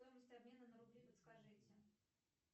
стоимость обмена на рубли подскажите